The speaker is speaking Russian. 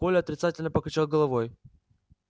коля отрицательно покачал головой